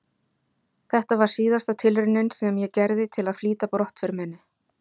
Þetta var síðasta tilraunin sem ég gerði til að flýta brottför minni.